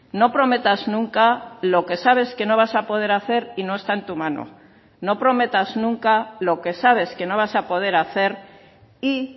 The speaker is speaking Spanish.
no prometas nunca lo que sabes que no vas a poder hacer y no está en tu mano no prometas nunca lo que sabes que no vas a poder hacer y